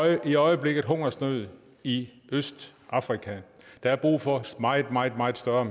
i øjeblikket hungersnød i østafrika der er brug for meget meget meget større